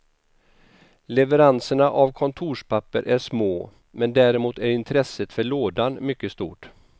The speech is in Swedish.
Leveranserna av kontorspapper är små, men däremot är intresset för lådan mycket stort.